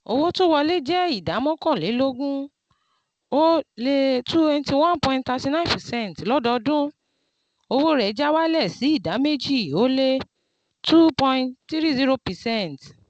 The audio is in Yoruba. Owó tó wọlé jẹ́ ìdá mọ́kànlélógún-ó-le twenty one point thirty nine percent lọdọodún, owó rẹ̀ já wálẹ̀ sí ìdá méjì-ó-lé two point three zero percent